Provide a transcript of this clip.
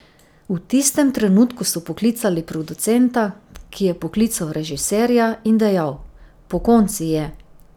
V tistem trenutku so poklicali producenta, ki je poklical režiserja in dejal: 'Pokonci je!